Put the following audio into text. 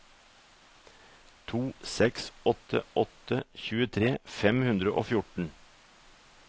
to seks åtte åtte tjuetre fem hundre og fjorten